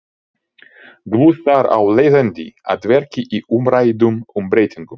Guðs þar af leiðandi að verki í umræddum umbreytingum.